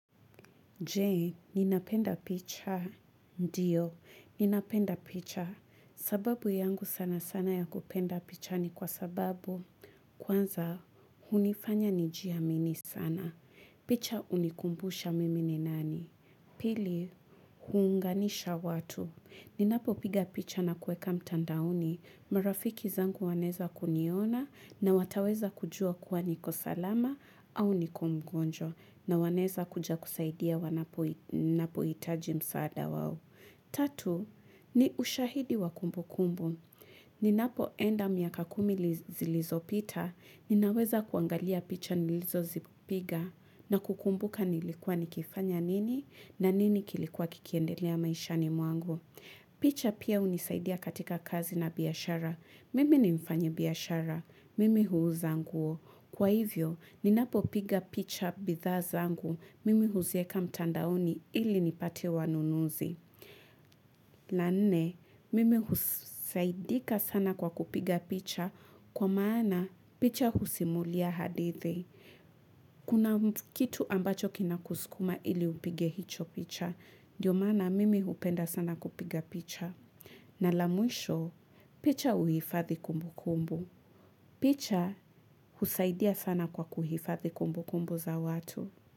Je, ninapenda picha. Ndiyo, ninapenda picha. Sababu yangu sana sana ya kupenda picha ni kwa sababu kwanza hunifanya nijiamini sana. Picha hunikumbusha mimi ni nani. Pili, huunganisha watu. Ninapopiga picha na kueka mtandaoni, marafiki zangu wanaeza kuniona na wataweza kujua kuwa niko salama au niko mgonjwa na wanaeza kuja kusaidia wanapo ninapohitaji msaada wao. Tatu, ni ushahidi wa kumbu kumbu. Ninapo enda miaka kumi zilizopita, ninaweza kuangalia picha nilizozipiga na kukumbuka nilikuwa nikifanya nini na nini kilikuwa kikiendelea maishani mwangu. Picha pia unisaidia katika kazi na biyashara. Mimi ni mfanyi biashara. Mimi huuza nguo. Kwa hivyo, ninapo piga picha bidhaa zangu. Mimi huzieka mtandaoni ili nipate wanunuzi. La nne, mimi husaidika sana kwa kupiga picha kwa maana picha husimulia hadithi Kuna kitu ambacho kinakuskuma ili upige hicho picha Dio maana mimi upenda sana kupiga picha na la mwisho, picha huhifadhi kumbu kumbu picha husaidia sana kwa kuhifathi kumbu kumbu za watu.